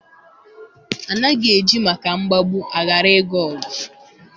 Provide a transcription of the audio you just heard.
Anaghị eji maka mgbagbu a ghara ịga ọgụ